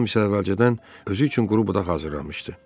Ram isə əvvəlcədən özü üçün quru budaq hazırlamışdı.